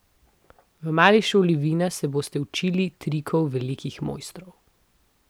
V mali šoli vina se boste učili trikov velikih mojstrov.